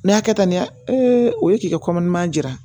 Ne y'a kɛ tan ne o ye k'i ka jira